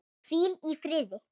Hvíl í fríði.